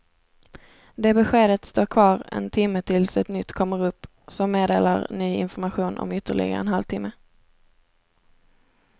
Det beskedet står kvar en timme tills ett nytt kommer upp som meddelar ny information om ytterligare en halv timme.